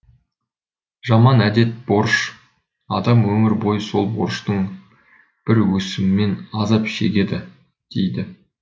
жаман әдет борыш адам өмір бойы сол борыштың бір өсімімен азап шегеді дейді